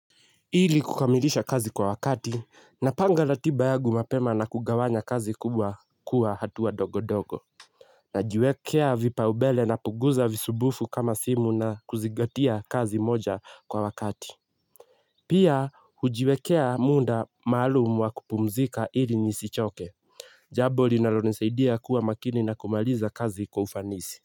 Ili kukamilisha kazi kwa wakati, napanga ratiba yangu mapema na kugawanya kazi kubwa kuwa hatuwa dogo dogo. Najiwekea vipau mbele napunguza visibufu kama simu na kuzingatia kazi moja kwa wakati. Pia hujiwekea muda maalumu wa kupumzika ili nisichoke. Jambo linalo nisaidia kuwa makini na kumaliza kazi kwa ufanisi.